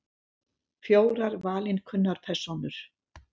Fjórar valinkunnar persónur.